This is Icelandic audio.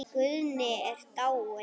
Guðni er dáinn.